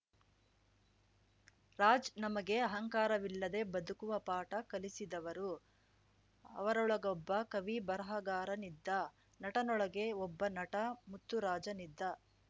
ರಾಜ್‌ ನಮಗೆ ಅಹಂಕಾರವಿಲ್ಲದೆ ಬದುಕುವ ಪಾಠ ಕಲಿಸಿದವರು ಅವರೊಳಗೊಬ್ಬ ಕವಿ ಬರಹಗಾರನಿದ್ದ ನಟನೊಳಗೆ ಒಬ್ಬ ನಟ ಮುತ್ತುರಾಜನಿದ್ದ